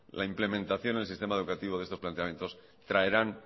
la implementación en el sistema educativo de estos planteamientos traerán